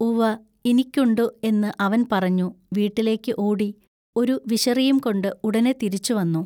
ഉവ്വ ഇനിക്കുണ്ടു എന്നു അവൻ പറഞ്ഞു വീട്ടിലെക്കു ഓടി ഒരു വിശറിയുംകൊണ്ടു ഉടനെ തിരിച്ചുവന്നു.